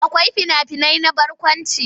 Akwai fina-finai na barkwanci.